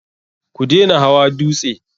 Ku dena hawa dutse!